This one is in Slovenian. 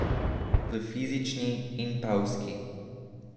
V fizični in pevski.